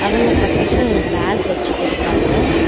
அவங்க பக்கத்துல ஒரு பேக் வச்சிட்டிருக்காங்க.